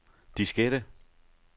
diskette